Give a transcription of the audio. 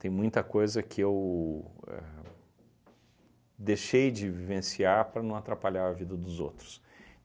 Tem muita coisa que eu ahn deixei de vivenciar para não atrapalhar a vida dos outros.